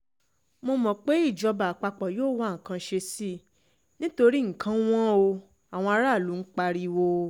mo mọ̀ pé ìjọba àpapọ̀ yóò wá nǹkan ṣe sí i nítorí nǹkan wọn ò àwọn aráàlú ń pariwo